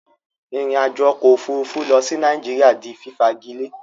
Ìrìn àjò okò òfurufú lo sí Naijiria di fífagilé